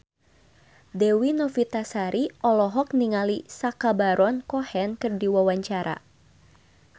Dewi Novitasari olohok ningali Sacha Baron Cohen keur diwawancara